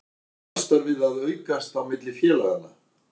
Er samstarfið að aukast á milli félaganna?